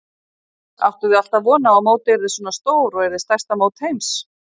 Áttuð þið alltaf von á að mótið yrði svona stór og yrði stærsta mót heims?